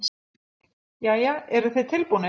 Jæja, eruð þið tilbúnir?